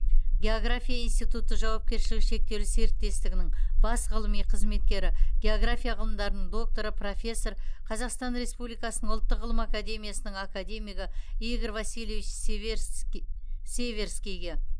география институты жауапкершілігі шектеулі серіктестігінің бас ғылыми қызметкері география ғылымдарының докторы профессор қазақстан республикасының ұлттық ғылым академиясының академигі игорь васильевич северскийге